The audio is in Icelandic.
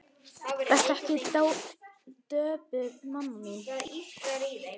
Vertu ekki döpur mamma mín.